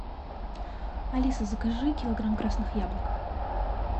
алиса закажи килограмм красных яблок